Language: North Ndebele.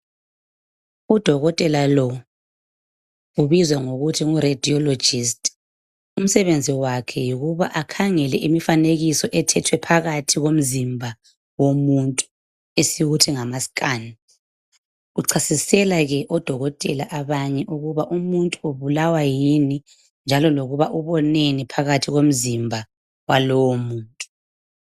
Udokotela lo ubizwa ngokuthi ngu radiologist .Umsebenzi wakhe yikuba akhangele imifanekiso ethethwe phakathi komzimba womuntu esikuthi ngama scan. Uchasisela ke odokotela abanye ukuba umuntu ubulawa yini njalo lokuba uboneni phakathi komzimba walowo muntu